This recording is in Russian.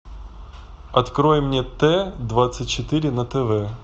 открой мне т двадцать четыре на тв